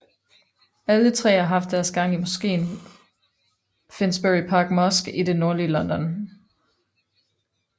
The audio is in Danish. Alle tre har haft deres gang i Mosken Finsbury Park Mosque i det nordlige London